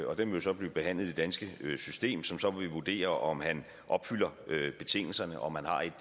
og den vil så blive behandlet i det danske system som så vil vurdere om han opfylder betingelserne om han har et